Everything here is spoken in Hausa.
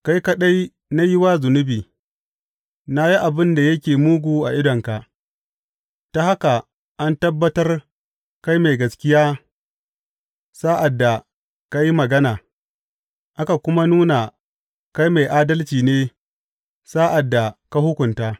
Kai kaɗai na yi wa zunubi na yi abin da yake mugu a idonka, ta haka an tabbatar kai mai gaskiya sa’ad da ka yi magana aka kuma nuna kai mai adalci ne sa’ad da ka hukunta.